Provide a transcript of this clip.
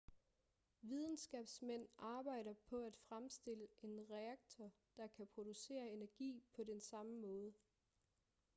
videnskabsmænd arbejder på at fremstille en reaktor der kan producere energi på den samme måde